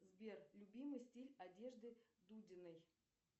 сбер любимый стиль одежды дудиной